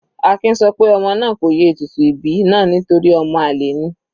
Akin sọ pé ọmọ náà kò ye ètùtù ìbí náà nítorí ọmọ àlè ni.